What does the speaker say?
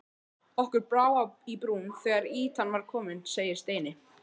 Okkur brá í brún þegar ýtan var komin segir Steini.